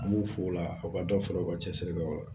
An b'u fo o la u ka dɔ fara u ka cɛsiri kan